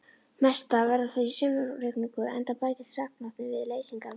Mestar verða þær í sumarrigningum enda bætist regnvatnið við leysingarvatnið.